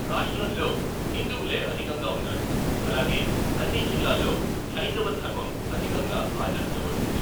రాష్ట్రంలో హిందువులే అధికంగా ఉన్నారు, అలాగే అన్ని జిల్లాల్లో హైందవ ధర్మం అధికంగా ఆచరించబడుతుంది.